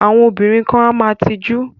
Àwọn obìnrin kan a máa tijú.